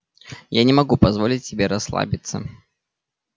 я не могу позволить себе расслабиться